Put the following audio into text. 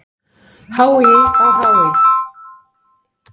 HÍ á HÍ!